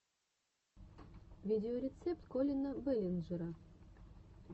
видеорецепт коллина бэллинджера